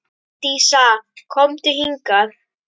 Dísa, komdu hingað!